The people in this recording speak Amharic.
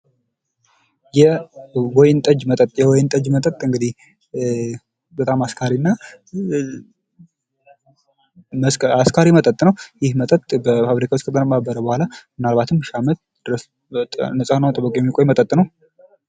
የወይን ጠጅ መጠጥ የወይን መጠጥ እንግዲህ በጣም አስካሪና አስካሪ መጠጥ ነው ይህ የመጠጥ በፋብሪካ ውስጥ ከተቀነባበረ በኋላ ምናልባትም ለሺ አመታት ድረስ ንጹህ ሆኑ የሚቆይ መጠጥ ነው።